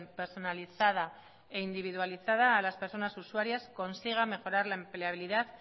personalizada e individualizada a las personas usuarias consiga mejorar la empleabilidad